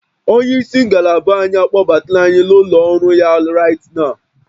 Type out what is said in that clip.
Onye isi ngalaba anyị akpọbatala anyị n'ụlọ ọrụ ya right nwo